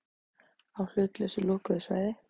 Á hlutlausu lokuðu svæði.